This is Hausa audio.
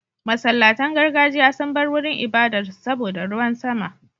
Masallatan gargajiya sun bar wurin ibadar su saboda ruwan sama.